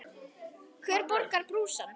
Hver borgar brúsann?